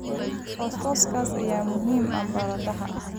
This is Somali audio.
Fosfooraska ayaa muhiim u ah baradhada.